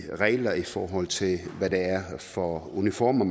regler i forhold til hvad det er for uniformer